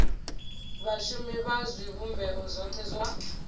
vhashumi vha zwivhumbeo zwothe zwa